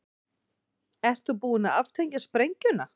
Ert þú búin að aftengja sprengjuna?